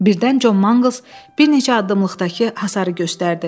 Birdən Con Mangls bir neçə addımlıqdakı hasarı gördü.